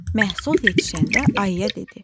Məhsul yetişəndə ayıya dedi: